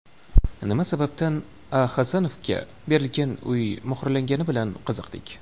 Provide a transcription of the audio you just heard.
Nima sababdan A. Hasanovaga berilgan uy muhrlangani bilan qiziqdik.